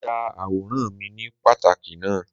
Mo ya àwòrán mi ní páàkì náà.